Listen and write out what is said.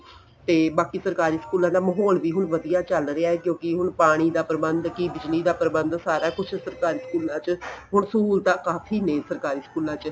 ਤੇ ਬਾਕੀ ਸਰਕਾਰੀ ਸਕੂਲਾ ਦਾ ਮਾਹੋਲ ਵੀ ਹੁਣ ਵਧੀਆ ਚੱਲ ਰਿਹਾ ਏ ਕਿਉਂਕਿ ਹੁਣ ਪਾਣੀ ਦਾ ਪਰਬੰਧ ਕੀ ਬਿਜਲੀ ਦਾ ਪਰਬੰਧ ਸਾਰਾ ਕੁੱਝ ਸਰਕਾਰੀ ਸਕੂਲਾ ਚ ਹੁਣ ਸਹੂਲਤਾ ਕਾਫੀ ਨੇ ਸਰਕਾਰੀ ਸਕੂਲਾ ਚ